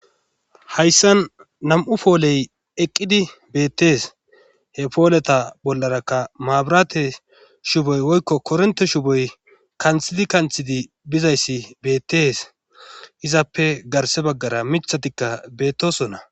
hayssan nam7u pooley eqqidi beettees he pooleta bollarakka maaburate shuboy woykko kornte shuboy kanthidi kanthidi bizayssi beettees izappe garse baggara mithatikka beettosonna